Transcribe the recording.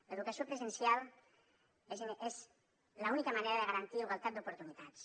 l’educació presencial és l’única manera de garantir igualtat d’oportunitats